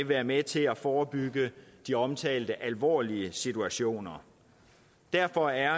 være med til at forebygge de omtalte alvorlige situationer derfor er